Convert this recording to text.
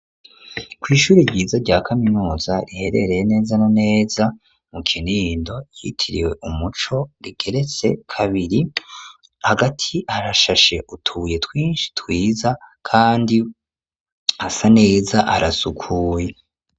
Kw'ishuri ryiza rya kaminuza riherereye neza na neza mu Kinindo ryitiriwe Umuco rigeretse kabiri hagati harashashe utubuye twishi twiza kandi hasa neza harasukuye.